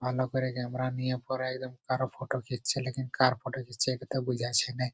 ভালো করে ক্যামেরা নিয়ে পরে কারো ফটো খিঁচছে লেকিন কার ফটো খিঁচছে বুঝাছে নাই ।